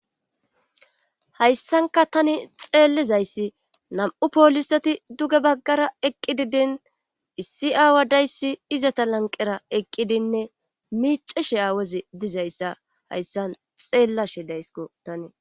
hayssanka tani xeellezayssi nam7u pooliseti duge baggara eqqi dini issi aawadayssi izeta lanqera eqqidinne miiceshe Aawozi dizayssa hayssan xeellashe daysko tani.